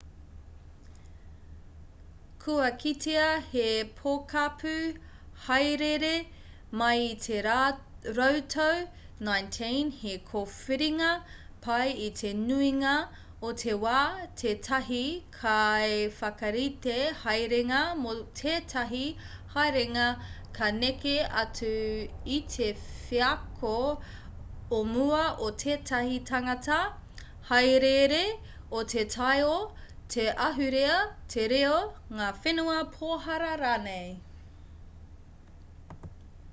kua kitea he pokapū hāereere mai i te rautau 19 he kōwhiringa pai i te nuinga o te wā tētahi kaiwhakarite haerenga mō tētahi haerenga ka neke atu i te wheako o mua o tētahi tangata hāereere o te taiao te ahurea te reo ngā whenua pohara rānei